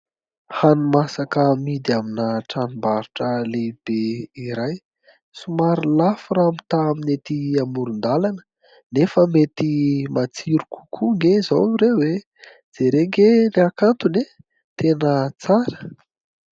Hanimasaka amidy amina tranombarotra lehibe iray somary lafo raha mitaha amin'ny ety amoron-dalana nefa mety matsiro kokoa ange izao ireo e ! jerena ange ny hakantony e ! tena tsara.